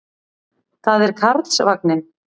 Það er Karlsvagninn.